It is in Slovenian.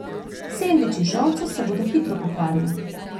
Sendviči z žolco se bodo hitro pokvarili.